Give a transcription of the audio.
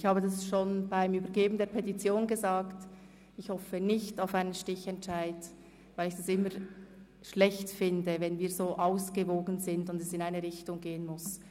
Ich habe schon bei der Übergabe der Petition gesagt, ich würde nicht auf einen Stichentscheid hoffen, weil ich es schlecht fände, wenn das Verhältnis so ausgewogen sei und es trotzdem in eine Richtung gehen müsse.